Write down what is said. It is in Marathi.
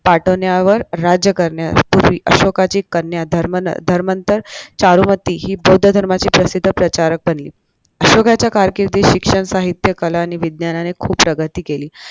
पाठ्वण्यावर राज्य करण्यापूर्वी अशोकाची कन्या धर्म धर्मांतर चारुमती हि बौद्ध धर्माची प्रसिद्ध प्रचारक बनली अशोकाच्या कारकिर्दीत शिक्षण साहित्य कला आणि विज्ञानाने खूप प्रगती केली.